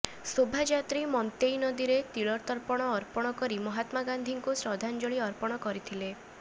ଶୋଭାଯାତ୍ରୀ ମନ୍ତେଇ ନଦୀରେ ତିଳତର୍ପଣ ଅର୍ପଣ କରି ମହାତ୍ମା ଗାନ୍ଧୀଙ୍କୁ ଶ୍ରଦ୍ଧାଞ୍ଜଳି ଅର୍ପଣ କରିଥିଲେ